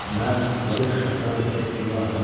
Mən Welsh şahzadəsi Eduardam.